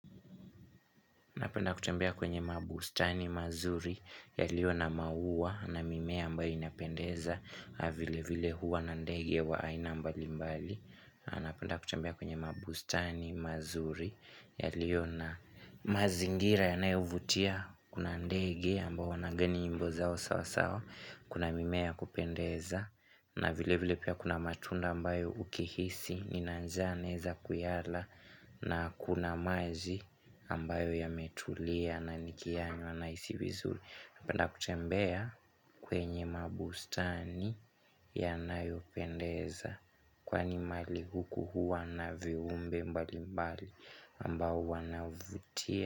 Napenda kutembea kwenye mabustani mazuri ya liyo na maua na mimea ambayo inapendeza vile vile huwa na ndege wa aina mbali mbali Napenda kutembea kwenye mabustani mazuri ya liyo na mazingira ya nayovutia Kuna ndege ambao wanaimba nyimbo zao sawa sawa kuna mimea yakupendeza na vile vile pia kuna matunda ambayo ukihisi Ninanjaa naeza kuyala na kuna maji ambayo ya metulia na nikiyanywa naisi vizuri Napenda kutembea kwenye mabustani ya nayopendeza Kwani mali huku huwa na viumbe mbali mbali ambao wanavutia.